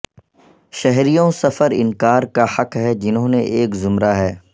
شہریوں سفر انکار کا حق ہے جنہوں نے ایک زمرہ ہے